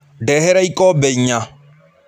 Ndehera ikombe inya.